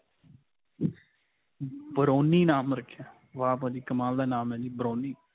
browny ਨਾਮ ਰੱਖਿਆ ਹੈ? ਵਾਹ ਭਾਜੀ ਕਮਾਲ ਦਾ ਨਾਮ ਹੈ ਜੀ browny.